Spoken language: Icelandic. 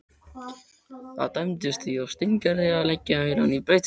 Það dæmdist því á Steingerði að leggja heilann í bleyti.